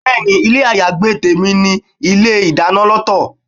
Bẹ́ẹ̀ni, ilé ayagbé tèmi ní ilé ìdáná lọ́tọ̀.